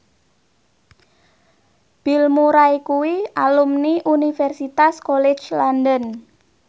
Bill Murray kuwi alumni Universitas College London